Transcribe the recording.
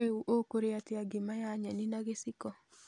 Rĩu ũkĩrĩa atĩa ngima ya nyeni na gĩciko?